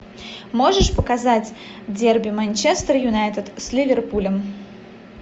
можешь показать дерби манчестер юнайтед с ливерпулем